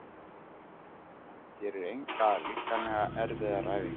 Hann gerir engar líkamlega erfiðar æfingar.